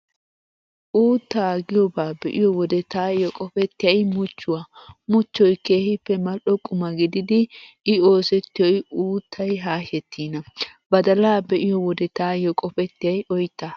Uuttaa giyoobaa be'iyo wode taayyo qopettiyay muchchuwaa, muchchoy keehippe mal"o quma gididi I oosettiyoy uuttay haashettiina. Badalaa be'iyo wode taayyo qopettiyay oyttaa.